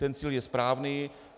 Ten cíl je správný.